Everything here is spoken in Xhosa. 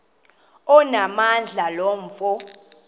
onamandla lo mfo